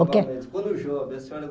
Quando jovem, a senhora